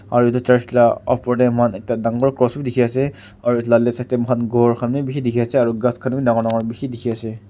aro etu church la ka opor tey moi khan ekta dangor cross b dikey ase aro etu left side tey moi khan ghor khan b bishi dikey ase aro ghas khan b dangor dangor bishi dikey ase.